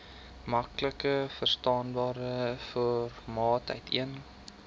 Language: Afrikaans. maklikverstaanbare formaat uiteen